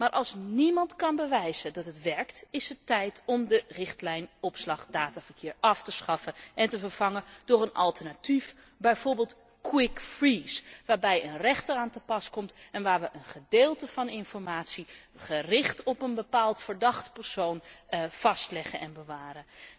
Maar als niemand kan bewijzen dat deze werkt is het tijd om de richtlijn opslag dataverkeer af te schaffen en te vervangen door een alternatief, bijvoorbeeld quick freeze waar een rechter aan te pas komt en waar wij een gedeelte van informatie, gericht op een bepaald verdacht persoon, vastleggen en bewaren.